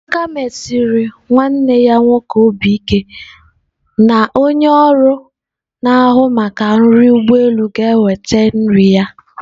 Amaka mesiri nwanne ya nwoke obi ike na onye ọrụ na-ahụ maka nri ụgbọ elu ga-eweta nri ya.